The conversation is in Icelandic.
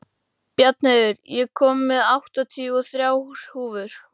Bjarnheiður, ég kom með áttatíu og þrjár húfur!